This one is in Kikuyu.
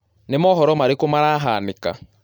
ni mohoro marĩkũ marahanĩka